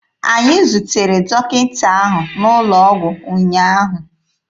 Anyị zutere dọkịta ahụ n'ụlọ ọgwụ ụnyaahụ.